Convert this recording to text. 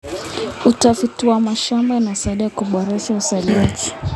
Utafiti wa mashamba unasaidia kuboresha uzalishaji.